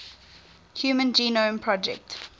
human genome project